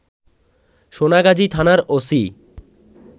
সোনাগাজী থানার ওসি